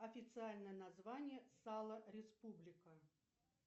официальное название сало республика